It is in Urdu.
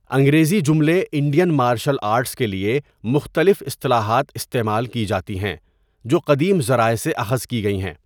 انگریزی جملے 'انڈین مارشل آرٹس' کے لیے مختلف اصطلاحات استعمال کی جاتی ہیں، جو قدیم ذرائع سے اخذ کی گئی ہیں۔